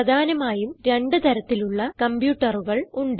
പ്രധാനമായും രണ്ട് തരത്തിലുള്ള കംപ്യൂട്ടറുകൾ ഉണ്ട്